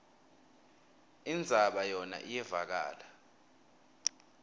indzaba yona iyevakala